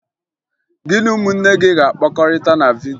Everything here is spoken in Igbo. Gị na ụmụnne gị ga-akpakọrịta na vidyo!